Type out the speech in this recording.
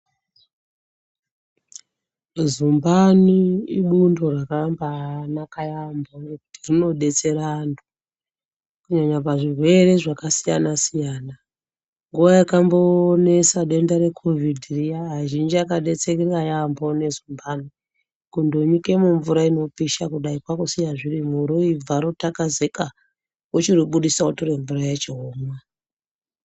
Zumbani ibundo rakambaanaka yaambo nekuti rinodetsera antu , kunyanya pazvirwere zvakasiyana-siyana. Nguwa yakambonesa denda rekovhidhi riya azhinji akadetsereka yaambo nezumbani, kundonyike mumvura inopisha kudai kwakusiya zvirimwo roibva rotakazika wochiribudisa wotore mvura yacho womwa.